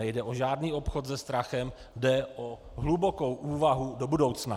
Nejde o žádný obchod se strachem, jde o hlubokou úvahu do budoucna.